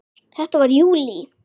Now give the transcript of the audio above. Þetta var í júlí.